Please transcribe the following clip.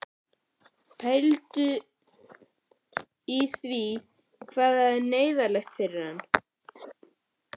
Pældu í því hvað þetta er neyðarlegt fyrir hann!